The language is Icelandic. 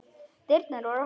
Dyrnar voru opnar.